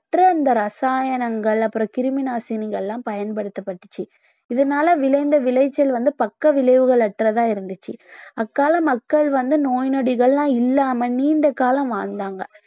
அற்ற இந்த ரசாயனங்கள் அப்புறம் கிருமி நாசினிகள் எல்லாம் பயன்படுத்தப்பட்டுச்சு இதனால விளைந்த விளைச்சல் வந்து பக்க விளைவுகள் அற்றதா இருந்துச்சு அக்கால மக்கள் வந்து நோய் நொடிகள்லாம் இல்லாம நீண்ட காலம் வாழ்ந்தாங்க